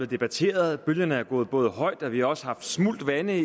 debatteret bølgerne har gået gået højt og vi har også haft smult vande